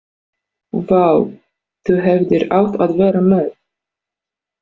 Vá, þú hefðir átt að vera með.